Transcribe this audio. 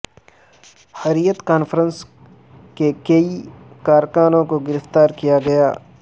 حریت conference کے کئی کارکنوں کو گرفتار کیا گیا